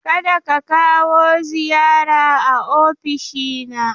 Ka da ka kawo ziyara a ofishina.